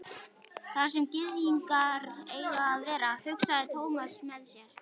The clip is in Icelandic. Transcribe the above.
Þar sem gyðingar eiga að vera, hugsaði Thomas með sér.